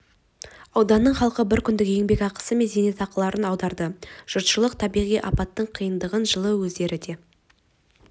ауданының халқы бір күндік еңбекақы мен зейнетақыларын аударды жұртшылық табиғи апаттың қиындығын жылы өздері де